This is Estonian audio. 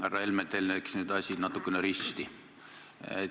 Härra Helme, teil läks nüüd asi natukene risti.